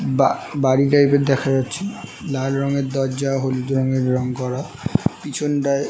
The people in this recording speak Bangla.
বা বাড়ি টাইপ এর দেখা যাচ্ছে লাল রঙের দরজা হলুদ রঙের রং করা পিছনটায়--